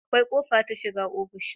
Akwai kofa ta shiga ofishi